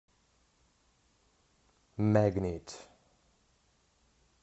мэгнит